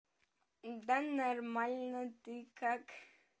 да нормально ты как